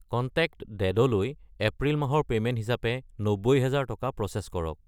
Contact ডেড লৈ April মাহৰ পে'মেণ্ট হিচাপে 90000 টকা প্ৰ'চেছ কৰক।